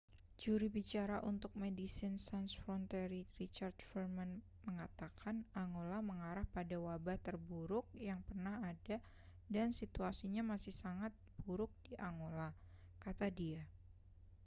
"juru bicara untuk medecines sans frontiere richard veerman mengatakan: angola mengarah pada wabah terburuk yang pernah ada dan situasinya masih sangat buruk di angola, kata dia.